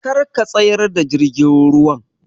Kar ka tsayar da jirgin ruwan!